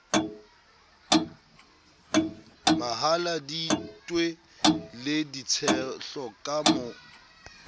mahaladitwe le ditshehlo ka ho